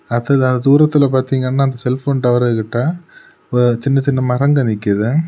அடுத்ததா தூரத்திலெ பாத்தீங்கன்னா செல்போன் டவரு கிட்ட ஓ சின்ன சின்ன மரங்க நிக்குது.